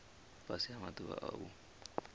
fhasi ha maḓuvha a u